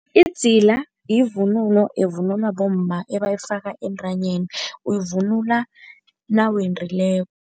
Idzila yivunulo evunulwa bomma ebayifaka entanyeni, uyivunula nawendileko.